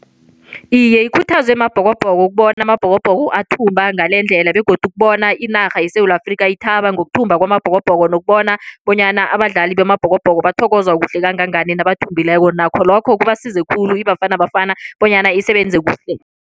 Iye, ikhuthazwe Mabhokobhoko ukubona aMabhokobhoko athumba ngalendlela begodu ukubona inarha yeSewula Afrikha ithaba ngokuthumba kwaMabhokobhoko nokubona bonyana abadlali baMabhokobhoko bathokozwa kuhle kangangani nabathumbileko nakho lokho kubasiza khulu iBafana Bafana bonyana isebenze kuhle.